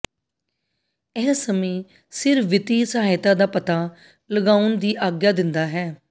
ਇਹ ਸਮੇਂ ਸਿਰ ਵਿੱਤੀ ਸਹਾਇਤਾ ਦਾ ਪਤਾ ਲਗਾਉਣ ਦੀ ਆਗਿਆ ਦਿੰਦਾ ਹੈ